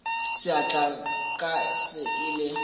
seatla sa ka se ile